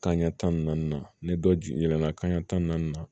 Kanɲɛ tan ni naani na ne dɔ jiginna kanɲɛ tan ni naani na